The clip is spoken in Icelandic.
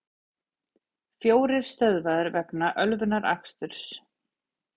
Fjórir stöðvaðir vegna ölvunaraksturs